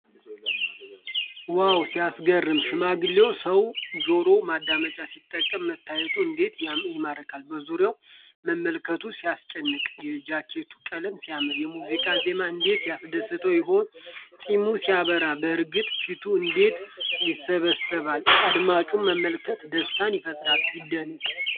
ዋው ሲያስገርም! ሽማግሌው ሰው ጆሮ ማዳመጫ ሲጠቀም መታየቱ እንዴት ይማርካል! በዙሪያው መመልከቱ ሲያስጨንቅ! የጃኬቱ ቀለም ሲያምር! የሙዚቃው ዜማ እንዴት ያስደስተው ይሆን! ፂሙ ሲያበራ! በእርግጥ ፊቱ እንዴት ያስባሳል! አድማጩን መመልከት ደስታን ይፈጥራል! ሲደነቅ!